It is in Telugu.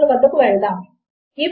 ఇప్పుడు నేను దీనిని ప్రతిక్షేపిస్తాను